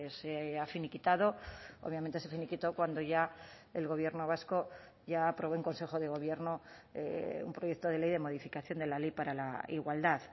se ha finiquitado obviamente se finiquitó cuando ya el gobierno vasco ya aprobó en consejo de gobierno un proyecto de ley de modificación de la ley para la igualdad